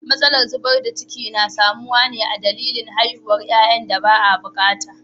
Matsalar zubar da ciki na samuwa ne a dalili haihuwar yayan da ba a bukata.